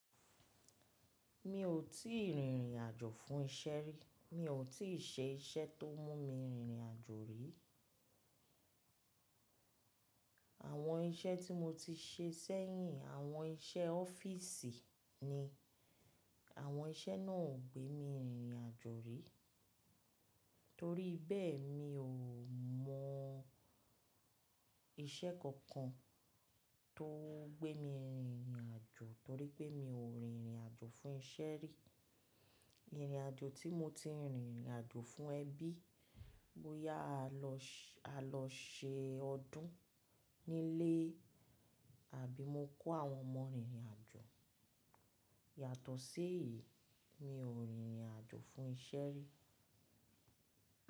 Mi ò tí ì rìnrìn àjò fún iṣẹ́ rí. Mi ò tí ì ṣe iṣẹ́ tó mún mi rìnrìn àjò rí. Àwọn iṣẹ́ tí mo ti ṣe sẹ́yìn, àwọn iṣẹ́ ọ́fíìsì ni. Àwọn iṣẹ́ náà ò gbé mi rìnrìn àjò rí. Torí bẹ́ẹ̀, mi ò mọ iṣẹ́ kankan tó gbé mi rìnrìn àjò torí pé mi ò rìnrìn àjò fún iṣẹ́ rí. Ìrìn àjò tí mo ti rìnrìn àjò fún ẹbí, bóyá a lọ ṣe ọdún nílé àbí mo kó àwọn ọmọ rìnrìn àjò. Yàtọ̀ sí èyí, mi ò rìnrìn àjò fún iṣẹ́ rí.